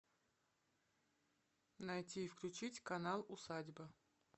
найти и включить канал усадьба